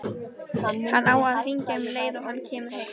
Hann á að hringja um leið og hann kemur heim.